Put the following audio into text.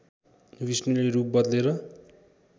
विष्णुले रूप बदलेर